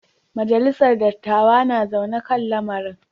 Majalisar dattawa na zaune kan lamarin.